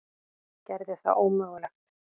Gerði það ómögulegt.